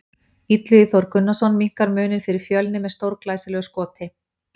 Illugi Þór Gunnarsson minnkar muninn fyrir Fjölni með stórglæsilegu skoti!